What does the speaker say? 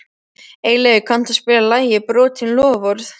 Eyleif, kanntu að spila lagið „Brotin loforð“?